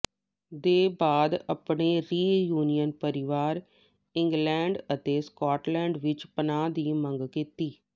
ਦੇ ਬਾਅਦ ਆਪਣੇ ਰਿਯੂਨਿਯਨ ਪਰਿਵਾਰ ਇੰਗਲਡ ਅਤੇ ਸਕੌਟਲਡ ਵਿਚ ਪਨਾਹ ਦੀ ਮੰਗ ਕੀਤੀ